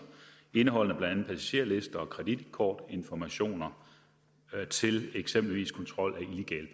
indeholdende blandt andet passagerlister og kreditkortinformationer til eksempelvis kontrol